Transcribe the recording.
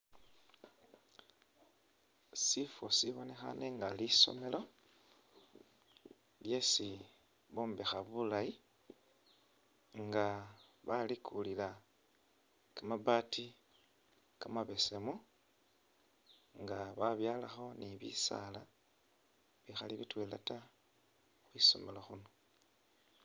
Sifo sibonekhane nga lisomelo lyesi bombekha bulayi nga balikulila kamabati kamabesemu nga babyalakho ni bisala bikhali bitwela taa khwisomelo khuno.